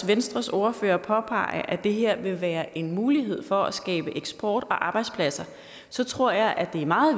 venstres ordfører påpege at det her vil være en mulighed for at skabe eksport og arbejdspladser tror jeg det er meget